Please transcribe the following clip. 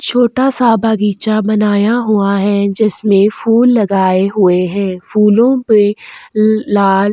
छोटा-सा बागीचा बनाया हुआ है जिसमें फूल लगाए हुए हैं फूलों पे ल लाल --